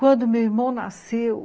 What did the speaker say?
Quando meu irmão nasceu,